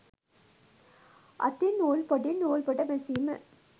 අතින් නූල් පොටින් නූල්පොට මැසීම